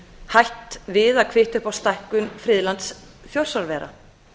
hætt við að kvitta upp á stækkun friðlands þjórsárvera